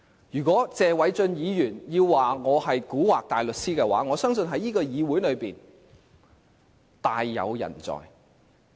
如果謝偉俊議員說我是蠱惑大律師，我相信這個議會大有人在。